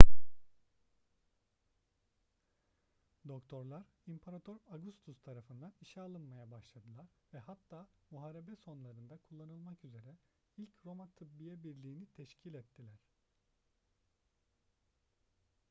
doktorlar i̇mparator augustus tarafından işe alınmaya başladılar ve hatta muharebe sonralarında kullanılmak üzere ilk roma tıbbiye birliği'ni teşkil ettiler